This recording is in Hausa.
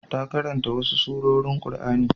Ta karanta wasu surorin Qur'ani.